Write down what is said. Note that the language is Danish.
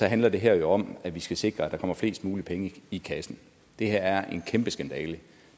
handler det her jo om at vi skal sikre at der kommer flest mulige penge i kassen det her er en kæmpe skandale